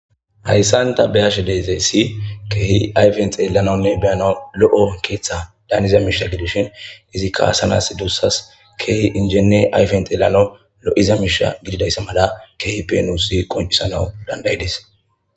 hayssanta beyashe dezey si keehi ayfen xeelanonne beyana lo7o keeththa daaniza miisha gidushin izi kaasanas duussas keehi injene ayfen xeelano lo7iza miisha gididayssa mada keehi penuusi qoncisanau dandayides